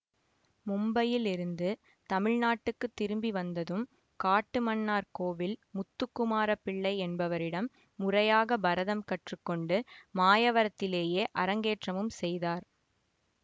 மும்பையில் இருந்து தமிழ்நாட்டுக்கு திரும்பி வந்ததும் காட்டுமன்னார்கோவில் முத்துக்குமாரப் பிள்ளை என்பவரிடம் முறையாக பரதம் கற்று கொண்டு மாயவரத்திலேயே அரங்கேற்றமும் செய்தார்